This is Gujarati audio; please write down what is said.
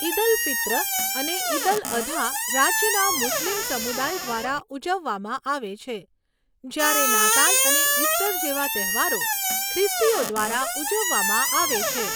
ઈદ અલ ફિત્ર અને ઈદ અલ અધા રાજ્યના મુસ્લિમ સમુદાય દ્વારા ઉજવવામાં આવે છે, જ્યારે નાતાલ અને ઇસ્ટર જેવા તહેવારો ખ્રિસ્તીઓ દ્વારા ઉજવવામાં આવે છે.